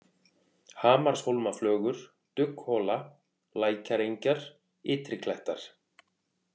Hamarshólmaflögur, Dugghola, Lækjarengjar, Ytri-Klettar